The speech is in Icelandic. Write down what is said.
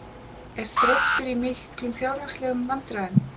Er Þróttur í miklum fjárhagslegum vandræðum?